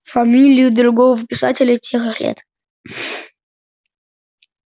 фамилию другого писателя тех лет